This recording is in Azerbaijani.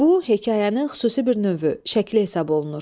Bu, hekayənin xüsusi bir növü, şəkli hesab olunur.